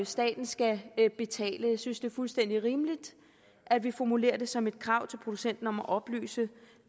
staten skal betale jeg synes det er fuldstændig rimeligt at vi formulerer det som et krav til producenten om at oplyse